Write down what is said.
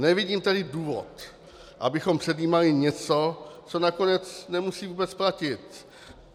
Nevidím tedy důvod, abychom předjímali něco, co nakonec nemusí vůbec platit.